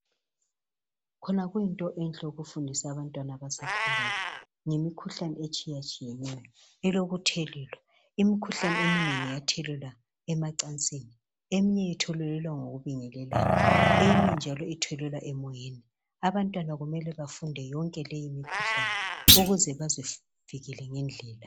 Khona kuyinto enhle ukufundisa abantwana abasakhulayo ngemukhuhlane etshiyetshiyeneyo elokuthelelwa. Imikhuhlane eminengi iyathelelwana emacansini, eminye ithelelwa ngokubingelelana eminye njalo ithelelwa emoyeni. Abantwana kumele bafunde yonke leyi mikhuhlane ukuze bazivikele ngendlela.